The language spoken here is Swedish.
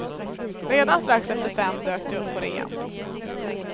Redan strax efter fem dök de upp på rean.